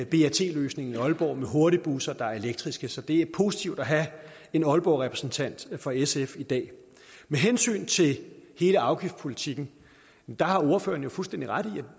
brt løsningen i aalborg med hurtigbusser der er elektriske så det er positivt at have en aalborgrepræsentant fra sf i dag med hensyn til hele afgiftspolitikken har ordføreren fuldstændig ret i at